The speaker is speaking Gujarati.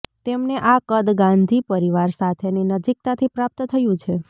તેમને આ કદ ગાંધી પરિવાર સાથેની નજીકતાથી પ્રાપ્ત થયું છે